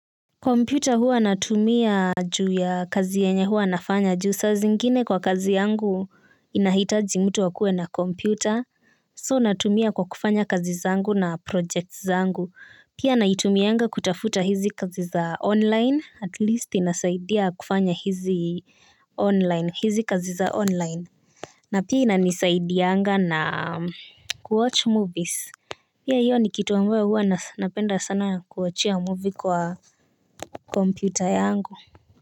Computer huwa natumia juu ya kazi yenye huwa nafanya juu sa zingine kwa kazi yangu inahitaji mtu wakue na computer So natumia kwa kufanya kazi zangu na projects zangu pia naitumianga kutafuta hizi kazi za online at least inasaidia kufanya hizi online hizi kazi za online. Na pia inanisaidianga na kuwatch movies. Pia iyo ni kitu ambayo huwa napenda sana kuangalia movie kwa kompyuter yangu.